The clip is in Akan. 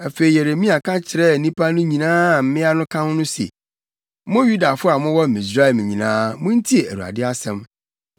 Afei Yeremia ka kyerɛɛ nnipa no nyinaa a mmea no ka ho se, “Mo Yudafo a mowɔ Misraim nyinaa muntie Awurade asɛm.